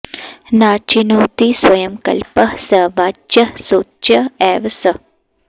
नाचिनोति स्वयं कल्पः स वाच्यः शोच्य एव सः